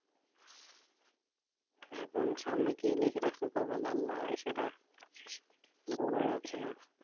এখন সামনে কি লিখে রাখছে কপালে আল্লা সেটা বলা যাচ্ছে না